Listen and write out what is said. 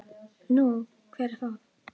Nú, hver er það?